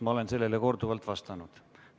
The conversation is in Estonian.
Ma olen sellele juba korduvalt vastanud.